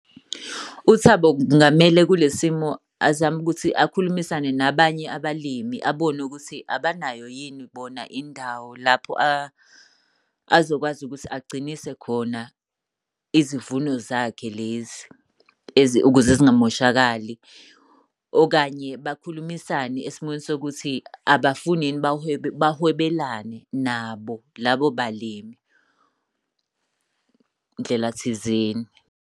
UThabo kungamele kule simo azame ukuthi akhulumisane nabanye abalimi, abone ukuthi abanayo yini bona indawo lapho azokwazi ukuthi agcinise khona izivuno zakhe lezi ukuze zingamoshakali. Okanye bakhulumisane esimweni sokuthi abafuni yini bahwebelane nabo labo balimi ndlela thizeni.